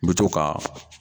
N bɛ to ka